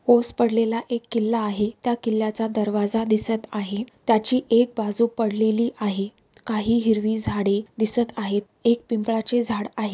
ओस पडलेला एक किल्ला आहे त्या किल्ला चा दरवाजा पडलेला दिसत आहेत त्याची एक बाजू पडलेली आहेत काही हिरवी झाडे दिसत आहे एक पिंपळाचे झाड आहे.